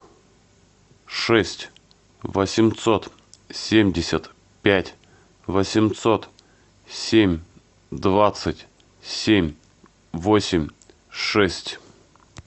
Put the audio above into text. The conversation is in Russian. шесть восемьсот семьдесят пять восемьсот семь двадцать семь восемь шесть